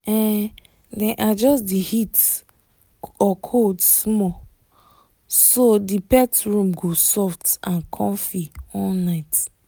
um dem adjust the heat or cold small so the pet room go soft and comfy all night